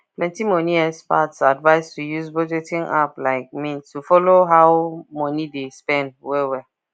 plenty money experts advise to use budgeting app like mint to follow how money dey spend well well